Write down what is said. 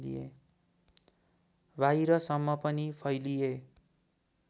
बाहिरसम्म पनि फैलिए